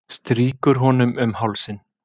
Strýkur honum um hálsinn.